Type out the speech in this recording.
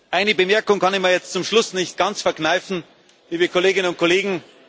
Eine Bemerkung kann ich mir zum Schluss nicht ganz verkneifen, liebe Kolleginnen und Kollegen.